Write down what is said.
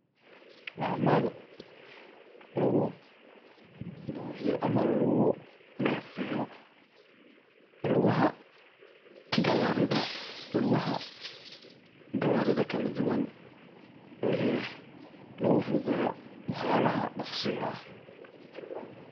Waa mel lugu buxiyo ama lagu nefeyo. Lugaha gawarida, lugaha gawarida kaladuwan oo ay yahay lagu fududeyo wax yalaha doqsiga ah.